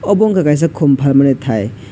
obo ungkha kaisa khum phalmani thai.